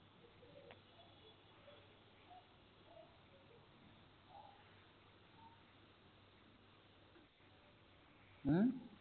ਹਮ